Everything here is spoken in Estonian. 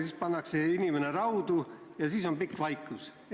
Inimene pannakse raudu ja siis järgneb pikk vaikus.